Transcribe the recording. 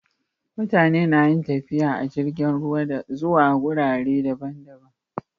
Mutane nayin tafiye tafiye a jirgin ruwa zuwa gurare daban daban